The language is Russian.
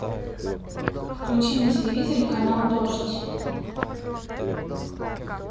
включи на телевизоре канал дождь